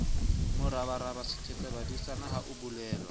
morabaraba sethetsabadisana ha ho bolelwa